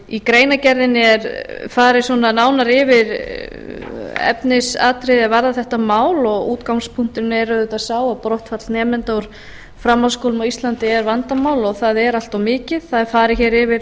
í greinargerðinni er farið nánar yfir efnisatriði er varða þetta mál og útgangspunkturinn er auðvitað sá að brottfall nemenda úr framhaldsskólum á íslandi er vandamál og það er allt of mikið það er farið hér yfir